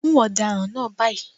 Mú ọ̀daràn náà báyìí.